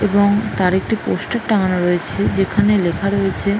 এবং তার একটি পোস্টার টাঙানো রয়েছে যেখানে লেখা রয়েছে --